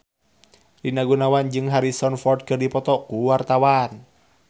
Rina Gunawan jeung Harrison Ford keur dipoto ku wartawan